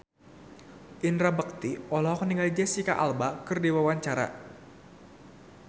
Indra Bekti olohok ningali Jesicca Alba keur diwawancara